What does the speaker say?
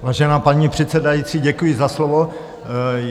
Vážená paní předsedající, děkuji za slovo.